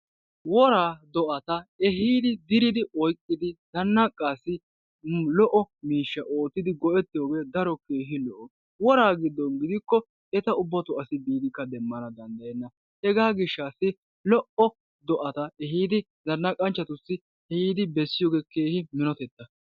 Woar do'ata eehidi dirid oyqqidi zannaqassi lo''o miishsha oottidi go'etiyooge daro keehi lo''o. Wora giddon gidikko eta ubbatton asi demanawukka danddayenna. hegaa gishassi lo''o do'ata zannaqanchchatussi ehidi bessiyooge keehin eratetta.